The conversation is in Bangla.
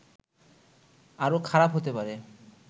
আরো খারাপ হতে পারে